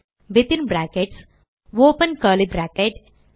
within brackets open curly brackets